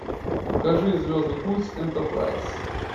покажи звездный путь энтерпрайз